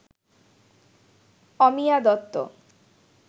Amiya Dutta